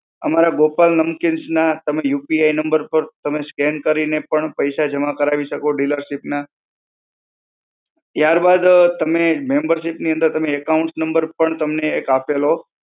અમારા ગોપાલ નમકીન્સના તમે UPI number પર તમે scan કરીને પણ પૈસા જમા કરાવી શકો dealership ના. ત્યારબાદ તમને membership ની અંદર તમે account number પણ તમને એક આપેલો